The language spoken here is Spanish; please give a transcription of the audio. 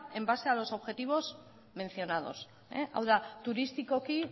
en base a los objetivos mencionados hau da turistikoki